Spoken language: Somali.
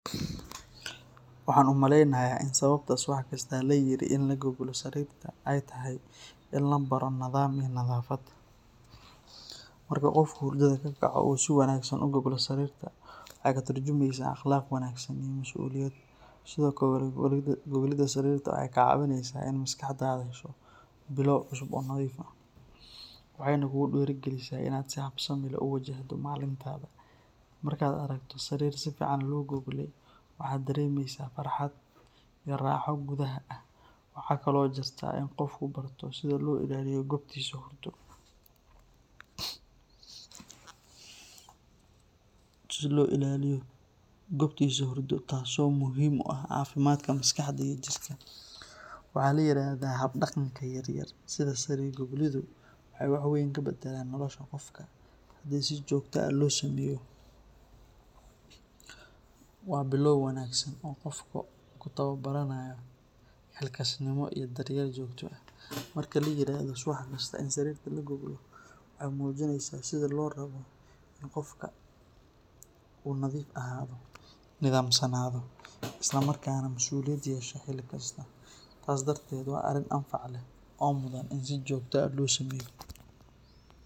Waxaan umaleynaya in sababta subax walbo loo goglo sariirta waxeey katurjumayaa bilaaw cusub oo nadiif ah, markaad aragto sariir si fican loo gogle waxaad heleysa farxad, waxaa ladahaa hab daqanka yaryar waxeey badalaan nolosha qofka, waxeey keneysa in qofka masuliyada yeesho, waxaana muhiim ah in si joogta ah loo sameeyo.